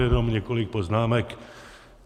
Jenom několik poznámek.